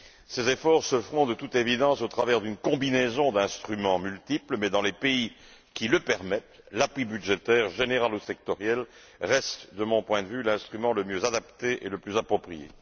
Ces efforts se feront de toute évidence au travers d'une combinaison d'instruments multiples, mais dans les pays qui le permettent, l'appui budgétaire, général ou sectoriel, reste de mon point de vue l'instrument le mieux adapté et le plus approprié.